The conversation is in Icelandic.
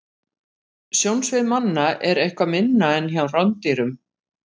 Sjónsvið manna er eitthvað minna en hjá rándýrum.